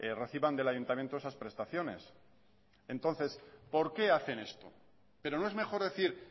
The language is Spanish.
reciban del ayuntamiento esas prestaciones entonces por qué hacen esto pero no es mejor decir